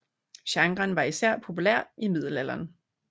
Genren var især populær i middelalderen